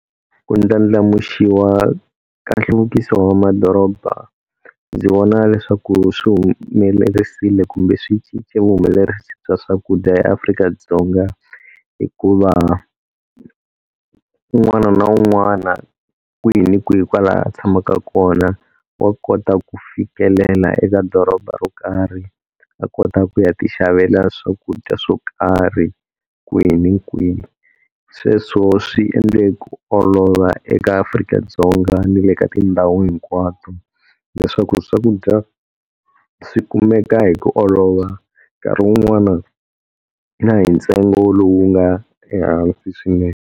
Ku ndlandlamuxiwa ka nhluvukiso wa madoroba ndzi vona leswaku swi humelerisile kumbe swi cince vuhumelerisi bya swakudya eAfrika-Dzonga. Hikuva un'wana na un'wana kwihi ni kwihi kwala a tshamaka kona wa kota ku fikelela eka doroba ro karhi a kota ku ya ti xavela swakudya swo karhi kwihi na kwihi. Sweswo swi endle ku olova eka Afrika-Dzonga ni le ka tindhawu hinkwato, leswaku swakudya swi kumeka hi ku olova nkarhi wun'wani na hi ntsengo lowu nga ehansi swinene.